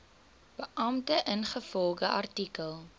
beampte ingevolge artikel